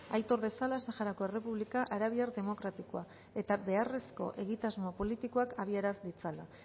aitor dezala saharako errepublika arabiar demokratikoa eta beharrezko egitasmo politikoak abiaraz ditzala